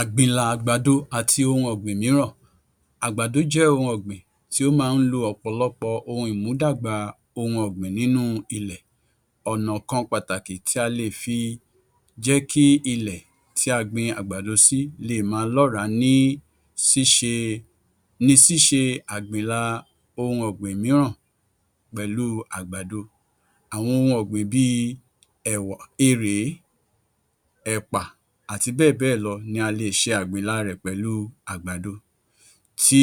Àgbìnlà àgbàdo àti ohun ọ̀gbìn mìíràn Àgbàdo jẹ́ ohun ọ̀gbìn tí ó máa ń lo ọ̀pọ̀lọpọ̀ ohun ìmúdàgbà ohun ọ̀gbìn nínú ilẹ̀. Ọ̀nà kan pàtàkì tí a lè fi jẹ́ kí ilẹ̀ tí a gbin àgbàdo sí lè máa lọràá ní ṣíse ni ṣíṣe àgbìnlà ohun ọ̀gbìn mìíràn pẹ̀lú àgbàdo. Àwọn ohun ọ̀gbìn bíi ẹ̀wà, erèé, ẹ̀pà àti bẹ́ẹ̀bẹ́ẹ̀lọ ni a lè ṣe àgbìnlà rẹ̀ pẹ̀lú àgbàdo. Tí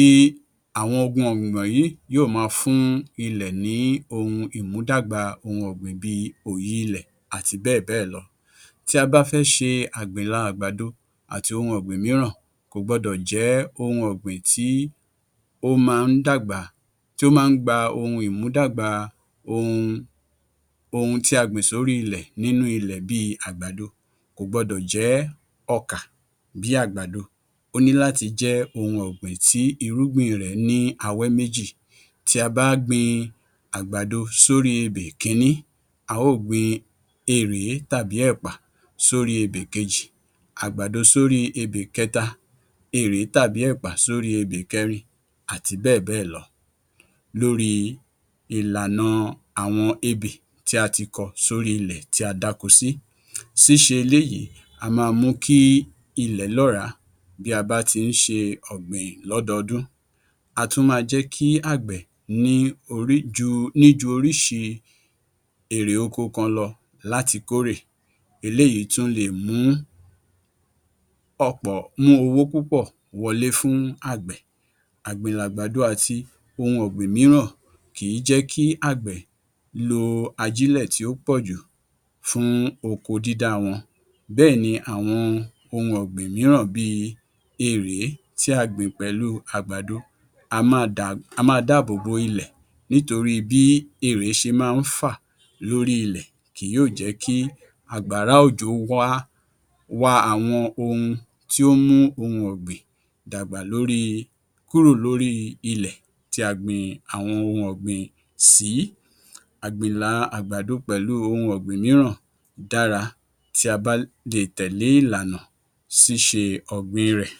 àwọn ohun ọ̀gbìn wọ̀nyí yóò máa fún ilẹ̀ ní ohun ìmúdàgbà ohun ọ̀gbìn bíi òyi ilẹ̀ àti bẹ́ẹ̀bẹ́ẹ̀lọ. Tí a bá fẹ́ ṣe àgbìnlà àgbàdo àti ohun ọ̀gbìn mìíràn, kò gbọ́dọ̀ jẹ́ ohun ọ̀gbìn tí ó máa ń dàgbà, tí ó máa ń gba ohun ìmúdàgbà ohun ohun tí a gbìn sórí ilẹ̀ nínú ilẹ̀ bíi àgbàdo kò gbọdọ̀ jẹ́ ọkà bíi àgbàdo. Ó ní láti jẹ́ ohun ọ̀gbìn tí irúgbìn rẹ̀ ní awẹ́ méjì. Tí a bá gbin àgbàdo sórí ebè kiní, a ó gbin erèé tàbí ẹ̀pà sóri ebè kejì, àgbàdo sórí ebè kẹta, erèé tàbí èpà sórí ebè kẹrin àti bẹ́ẹ̀bẹ́ẹ̀lọ. Lórí ìlànà àwọn ebè tí a ti kọ́ sórí ilẹ̀ tí a dáko sí, ṣíṣe eléyìí á máa mú kí ilẹ̀ lọ́ràá. Bí a bá ti ń ṣe ọ̀gbìn lọ́dọ́ọdún á tún máa jẹ́ kí àgbẹ̀ ní orí ju ní ju oríṣi erè oko kan lọ láti kórè. Eléyìí tún leè mú ọ̀pọ̀ mú owó púpọ̀ wọlé fún àgbẹ̀. Àgbìnlà àgbàdo àti ohun ọ̀gbìn mìíràn kìí jẹ́ kí àgbẹ̀ lo ajílẹ̀ tí ó pọ̀jù fún oko dídá wọn. Bẹ́ẹ̀ ni àwọn ohun ọ̀gbìn mìíràn bíi erèé tí a gbìn pẹ̀lú àgbàdo á máa dá á máa dáàbòbò ilẹ̀ nítorí bí erèé ṣe máa ń fà lórí ilẹ̀ kì yóò jẹ́ kí àgbàrá òjò wọ́á wa àwọn ohun tí ó ń mú ohun ọ̀gbìn dàgbà lórí kúrò lórí ilẹ̀ tí a gbin àwọn ohun ọ̀gbìn sìí. Àgbìnlà àgbàdo pẹ̀lú ohun ọ̀gbìn mìíràn dára tí a bá lè tẹ̀lé ìlànà ṣíṣe ọ̀gbìn rẹ̀.